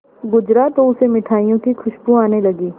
गुजरा तो उसे मिठाइयों की खुशबू आने लगी